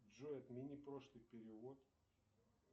джой отмени прошлый перевод